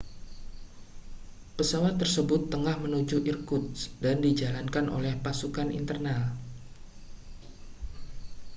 pesawat tersebut tengah menuju irkutsk dan dijalankan oleh pasukan internal